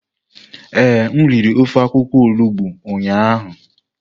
Ee, m riri ofe akwukwo olugbo ụnyahụ.